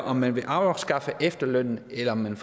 om man vil afskaffe efterlønnen eller om man